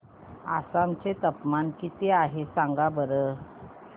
आसाम चे तापमान किती आहे सांगा बरं